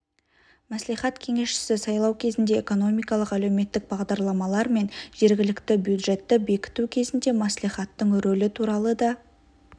мәслихат кеңесшісі сайлау кезінде экономикалық әлеуметтік бағдарламалар мен жергілікті бюджетті бекіту кезінде мәслихаттың рөлі туралы да